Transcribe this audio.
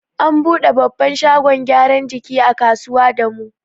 An buɗe babban shagon gyaran jiki a kusa da mu.